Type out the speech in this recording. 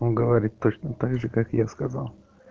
он говорить точно также как я сказал